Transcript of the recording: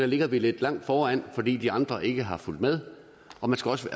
ligger lidt langt foran fordi de andre ikke har fulgt med og man skal også